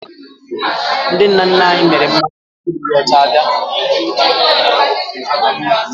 Ndị nna nna anyị mịrị mmanya tupu ndị ọcha abịa